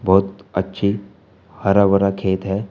बहुत अच्छी हरा भरा खेत है।